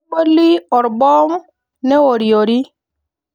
Neboli orboom neoriori.